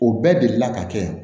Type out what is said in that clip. O bɛɛ delila ka kɛ